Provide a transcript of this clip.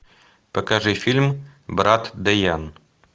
покажи фильм брат дэян